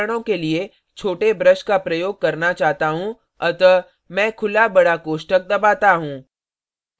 मैं विवरणों के लिए छोटे brush का प्रयोग करना चाहता हूँ अतः मैं खुला बड़ा कोष्ठक दबाता हूँ